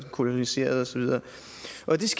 koloniseret og så videre